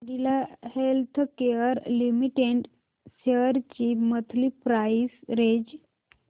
Cadila healthcare limited shares ची monthly price range